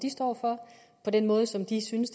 de står for på den måde som de synes